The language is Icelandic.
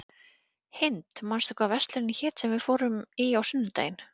Hind, manstu hvað verslunin hét sem við fórum í á sunnudaginn?